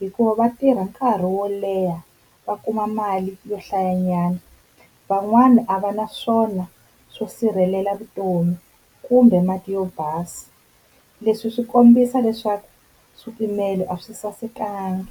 hikuva va tirha nkarhi wo leha va kuma mali yo hlayanyana. Van'wana a va na swona swo sirhelela vutomi kumbe mati yo basa leswi swi kombisa leswaku swipimelo a swi sasekanga.